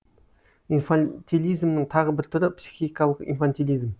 инфантилизмнің тағы бір түрі психикалық инфантилизм